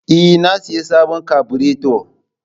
Ee, na sayi sabon kabureto